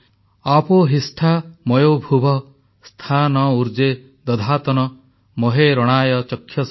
ଆପୋ ହିଷ୍ଠା ମୟୋ ଭୁବଃ ସ୍ଥା ନ ଉର୍ଜେ ଦଧାତନ ମହେ ରଣାୟ ଚକ୍ଷସେ